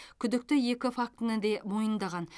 күдікті екі фактіні де мойындаған